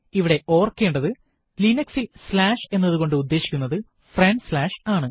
ഇവിടെ ഓർക്കേണ്ടത് linux ൽ സ്ലാഷ് എന്നതുകൊണ്ട് ഉദേശിക്കുന്നത് ഫ്രണ്ട് സ്ലാഷ് ആണ്